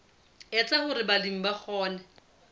etsa hore balemi ba kgone